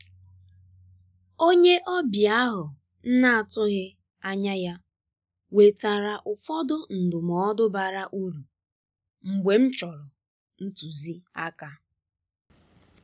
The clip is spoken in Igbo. onye ọbịa ahụ m na-atụghị anya ya wetara ụfọdụ ndụmọdụ bara uru mgbe m chọrọ ntuzi aka.